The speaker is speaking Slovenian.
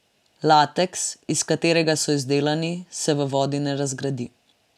Lateks, iz katerega so izdelani, se v vodi ne razgradi.